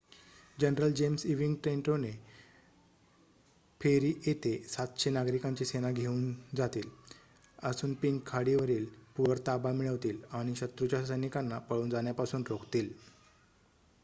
general James Ewing Trenton ferry येथे ७०० नागरिकांची सेना घेऊन जातील असुनपिंक खाडीवरील पूलवर ताबा मिळवतील आणि शत्रूच्या सैनिकांना पळून जाण्यापासून रोखतील